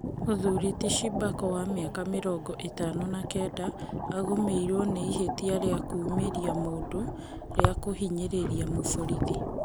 Mũthuri ti Shibako wa mĩaka mĩrongo ĩtano na kenda agũmĩirwo na ihĩtia rĩa kũũmĩria mũndũ rĩa kũhinyĩrĩria mũborithi.